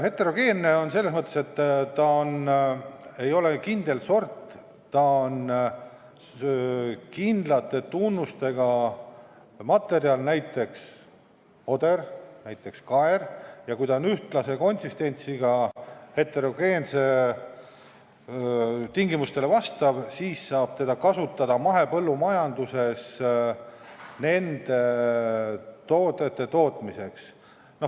Heterogeenne on ta selles mõttes, et ta ei ole kindel sort, ta on kindlate tunnustega materjal, näiteks oder või kaer, ning kui ta on ühtlase konsistentsiga ja vastab heterogeense tingimustele, siis saab teda kasutada mahepõllumajanduses toodete tootmiseks.